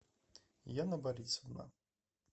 яна борисовна